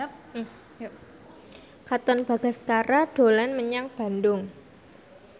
Katon Bagaskara dolan menyang Bandung